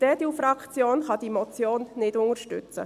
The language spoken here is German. Die EDU-Fraktion kann diese Motion nicht unterstützen.